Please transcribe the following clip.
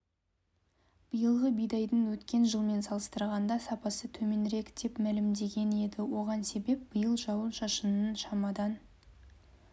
биылғы бидайдың өткен жылмен салыстырғанда сапасы төменірек деп мәлімдеген еді оған себеп биыл жауын-шашынның шамадан